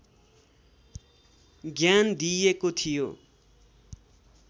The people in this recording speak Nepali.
ज्ञान दिइएको थियो